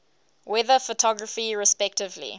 weather photography respectively